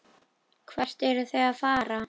Hvert eruð þið að fara?